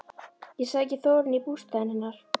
Ég sæki Þórunni í bústaðinn hennar.